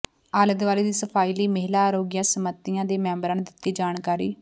ਆਲੇ ਦੁਆਲੇ ਦੀ ਸਫ਼ਾਈ ਲਈ ਮਹਿਲਾ ਅਰੋਗਿਆ ਸੰਮਤੀਆਂ ਦੇ ਮੈਂਬਰਾਂ ਨੂੰ ਦਿੱਤੀ ਜਾਣਕਾਰੀ